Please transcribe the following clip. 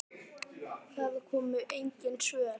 Það komu engin svör.